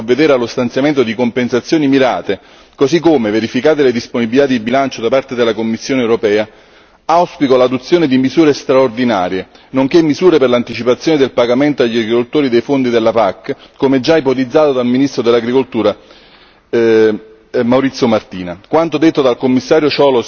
Penso che si debba lavorare per provvedere allo stanziamento di compensazioni mirate, così come, verificate le disponibilità di bilancio da parte della Commissione europea, auspico l'adozione di misure straordinarie, nonché misure per l'anticipazione del pagamento agli agricoltori dei fondi della PAC, come già ipotizzato dal ministro dell'Agricoltura Maurizio Martina.